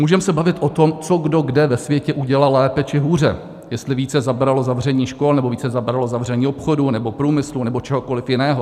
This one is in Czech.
Můžeme se bavit o tom, co kdo kde ve světě udělal lépe či hůře, jestli více zabralo zavření škol, nebo více zabralo zavření obchodů nebo průmyslu nebo čehokoli jiného.